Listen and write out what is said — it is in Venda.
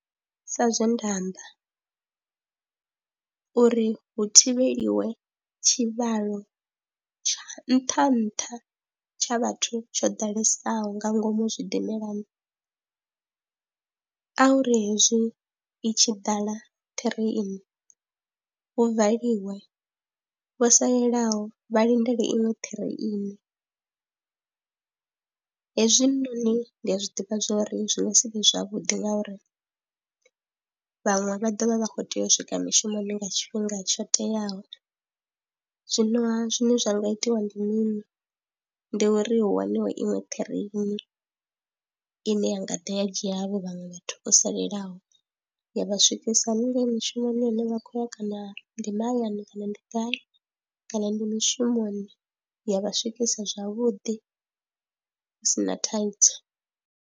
Sa zwe nda amba uri hu thivheliwe tshivhalo tsha nṱha nṱha tsha vhathu tsho ḓalesaho nga ngomu zwidimelani a hu ri hezwi i tshi ḓala ṱireini hu valiwe, vho salelaho vha lindele iṅwe ṱireini hezwinoni ndi a zwi ḓivha zwo ri zwi nga si vhe zwavhuḓi ngauri vhaṅwe vha ḓo vha vha khou tea u swika mushumoni nga tshifhinga tsho teaho. Zwinoha zwine zwa nga itiwa ndi mini, ndi uri hu waniwe iṅwe ṱireni ine ya nga ḓa ya dzhia havho vhaṅwe vhathu o salelaho ya vha swikisa haningei mishumoni hune vha khou ya kana ndi mahayani kana ndi gai kana ndi mushumoni ya vha swikisa zwavhuḓi hu si na thaidzo.